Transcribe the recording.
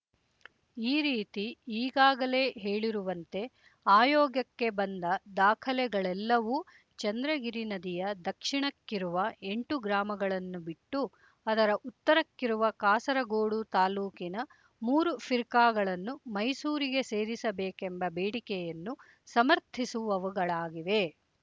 ಈ ರೀತಿ ಈಗಾಗಲೇ ಹೇಳಿರುವಂತೆ ಆಯೋಗಕ್ಕೆ ಬಂದ ದಾಖಲೆಗಳೆಲ್ಲವೂ ಚಂದ್ರಗಿರಿ ನದಿಯ ದಕ್ಷಿಣಕ್ಕಿರುವ ಎಂಟು ಗ್ರಾಮಗಳನ್ನು ಬಿಟ್ಟು ಅದರ ಉತ್ತರಕ್ಕಿರುವ ಕಾಸರಗೋಡು ತಾಲೂಕಿನ ಮೂರು ಫಿರ್ಕಾಗಳನ್ನು ಮೈಸೂರಿಗೆ ಸೇರಿಸಬೇಕೆಂಬ ಬೇಡಿಕೆಯನ್ನು ಸಮರ್ಥಿಸುವವುಗಳಾಗಿವೆ